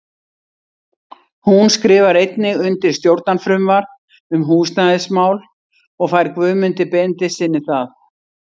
Hún skrifar einnig undir stjórnarfrumvarp um húsnæðismál og fær Guðmundi Benediktssyni það.